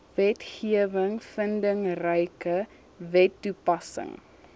wetgewing vindingryke wetstoepassing